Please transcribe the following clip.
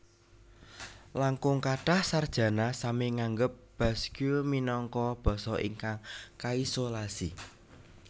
Langkung kathah sarjana sami nganggep Basque minangka basa ingkang kaisolasi